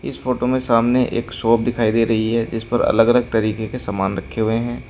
इस फोटो में सामने एक शॉप दिखाई दे रही है जिस पर अलग अलग तरीके के सामान रखे हुए हैं।